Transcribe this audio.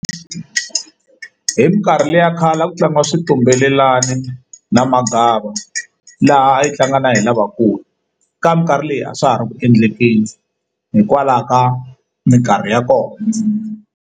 Hi mikarhi leya khale a ku tlangiwa xitumbelelani na magava laha yi tlanga na hi lavakulu ka minkarhi leyi a swa ha ri ku endleni busy hikwalaho ka mikarhi ya kona.